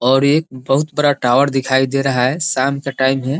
और एक बहुत बड़ा टावर दिखाई दे रहा है शाम का टाइम है।